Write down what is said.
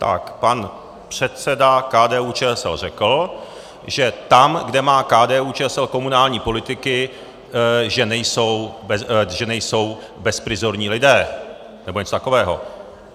Tak pan předseda KDU-ČSL řekl, že tam, kde má KDU-ČSL komunální politiky, že nejsou bezprizorní lidé nebo něco takového.